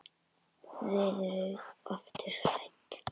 Verður aftur hrædd.